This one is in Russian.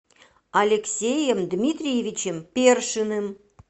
алексеем дмитриевичем першиным